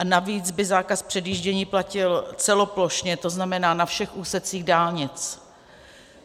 A navíc by zákaz předjíždění platil celoplošně, to znamená na všech úsecích dálnic.